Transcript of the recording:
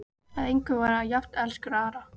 Að engum var hann jafn elskur og Ara.